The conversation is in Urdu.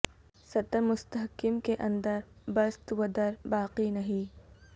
سطر مستحکم کے اندر بست و در باقی نہیں